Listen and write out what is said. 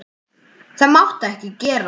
Það mátti ekki gerast.